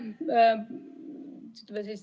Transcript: Aitäh!